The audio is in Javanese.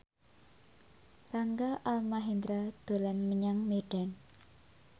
Rangga Almahendra dolan menyang Medan